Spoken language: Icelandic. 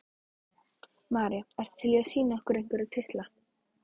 María: Ertu til í að sýna okkur einhverja titla?